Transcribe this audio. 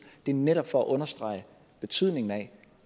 netop for at understrege betydningen af